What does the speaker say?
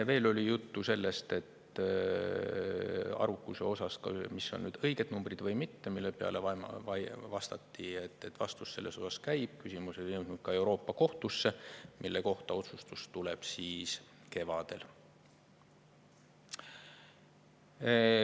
Veel oli juttu sellest, mis on arvukuse osas õiged numbrid, mille peale vastati, et vaidlus selle üle käib, küsimus on jõudnud ka Euroopa Kohtusse ja otsus selle kohta tuleb kevadel.